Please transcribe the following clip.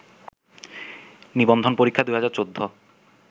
নিবন্ধন পরীক্ষা ২০১৪